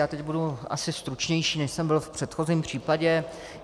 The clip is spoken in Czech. Já teď budu asi stručnější, než jsem byl v předchozím případě.